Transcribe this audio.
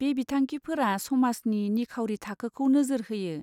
बे बिथांखिफोरा समाजनि निखावरि थाखोखौ नोजोर होयो।